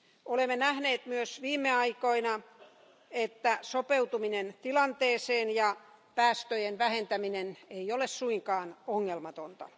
Olemme nähneet myös viime aikoina, että sopeutuminen tilanteeseen ja päästöjen vähentäminen ei ole suinkaan ongelmatonta.